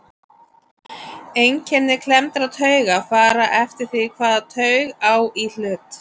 Einkenni klemmdrar taugar fara eftir því hvaða taug á í hlut.